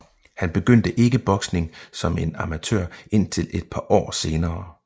Han begyndte ikke boksning som en amatør indtil et par år senere